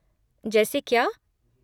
जैसे क्या?